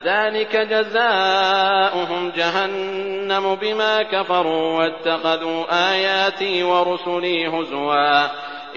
ذَٰلِكَ جَزَاؤُهُمْ جَهَنَّمُ بِمَا كَفَرُوا وَاتَّخَذُوا آيَاتِي وَرُسُلِي هُزُوًا